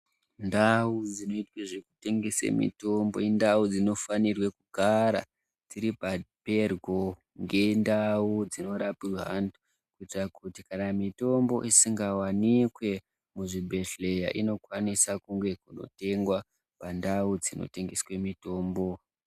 Ndau dzinoitwa zvekutengese mitombo indau dzinofanirwe kugara dziri peryo ngendau dzinorapirwa anhu, kuitira kuti kana mitombo isingawanikwe muzvibhedhlera inokwanisa kunge yeitengwa pandau dzinotengesa mitombo.